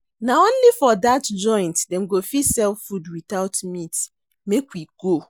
Na only for dat joint dem go fit sell food witout meat, make we go.